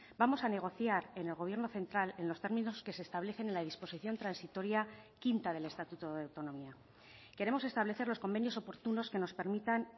vamos a negociar en el gobierno central en los términos que se establecen en la disposición transitoria quinta del estatuto de autonomía queremos establecer los convenios oportunos que nos permitan